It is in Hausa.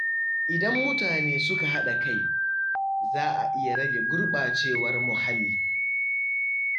Idan mutane suka haɗa kai, za a iya rage gurɓacewar muhalli.